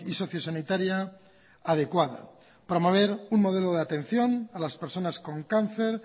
socio sanitaria adecuada promover un modelo de atención a las personas con cáncer